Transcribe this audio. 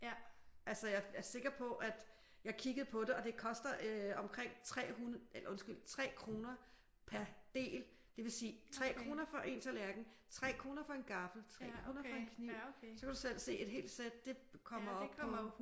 Altså jeg er sikker på at jeg kiggede på det og det koster omkring 3 kroner per del det vil sige 3 kroner for en tallerken 3 kroner for en gaffel 3 kroner for en kniv så kan du selv se et helt sæt det kommer op på